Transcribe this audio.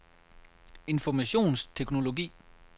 informationsteknologi